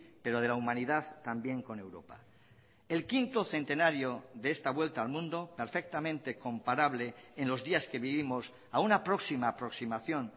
pero de la humanidad también con europa el quinto centenario de esta vuelta al mundo perfectamente comparable en los días que vivimos a una próxima aproximación